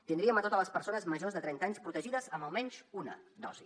tindríem totes les persones majors de trenta anys protegides amb almenys una dosi